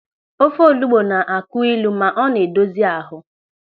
Ofe olugbu na-akụ ịlụ ma ọ na-edozi ahụ.